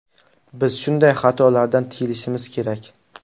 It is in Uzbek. Biz shunday xatolardan tiyilishimiz kerak”.